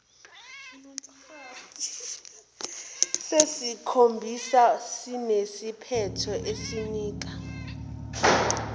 sesikhombisa sinesiphetho esinika